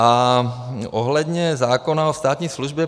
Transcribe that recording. A ohledně zákona o státní službě.